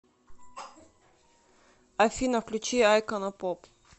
афина включи айкона поп